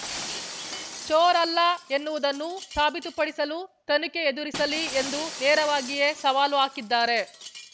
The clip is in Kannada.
ಚೋರ್ ಅಲ್ಲ ಎನ್ನುವುದನ್ನು ಸಾಬೀತುಪಡಿಸಲು ತನಿಖೆ ಎದುರಿಸಲಿ ಎಂದು ನೇರವಾಗಿಯೇ ಸವಾಲು ಹಾಕಿದ್ದಾರೆ